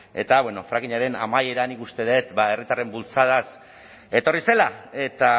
eta bueno frackingaren amaiera nik uste dut herritarren bultzadaz etorri zela eta